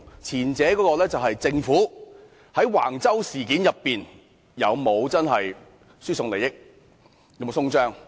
前者是政府在橫洲事件上有沒有輸送利益？